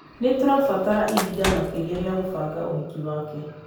Nĩtũrabatara ihinda makĩria rĩa gubanga ũhiki wake